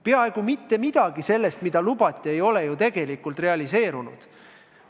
Peaaegu mitte midagi sellest, mida lubati, ei ole tegelikult realiseerunud.